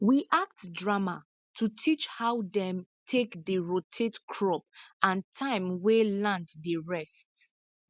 we act drama to teach how dem take dey rotate crop and time wey land dey rest